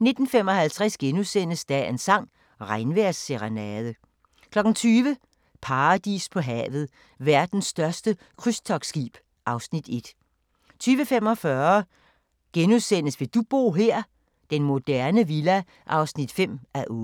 19:55: Dagens sang: Regnvejrsserenade * 20:00: Paradis på havet – Verdens største krydstogtskib (Afs. 1) 20:45: Vil du bo her? – Den moderne villa (5:8)*